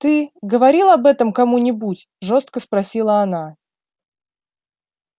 ты говорил об этом кому-нибудь жёстко спросила она